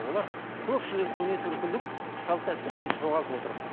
олар көпшілік көне түркілік салт дәстүрлерді жоғалтып отыр